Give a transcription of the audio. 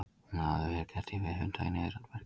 Hún hafi því verið kennd við hunda í niðrandi merkingu.